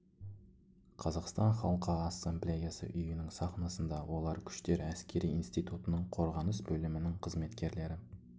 қазақстан халқы ассамблеясы үйінің сахнасында олардың күштер әскери институтының қорғаныс бөлімінің қызметкерлері